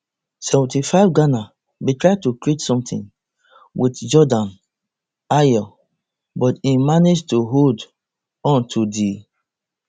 seventy-fiveghana bin try to create sometin wit jordan ayew but im manage to hold on to di